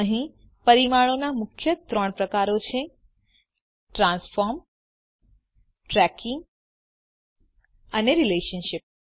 અહીં પરિમાણોના મુખ્ય ત્રણ પ્રકારો છે ટ્રાન્સફોર્મ ટ્રેકિંગ એન્ડ રિલેશનશીપ